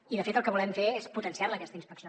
i de fet el que volem fer és potenciar la aquesta inspecció